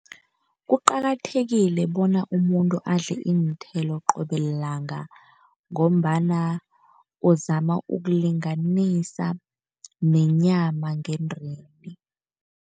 Kuqakathekile bona umuntu adle iinthelo qobe lilanga, ngombana uzama ukulinganisa nenyama ngendeni.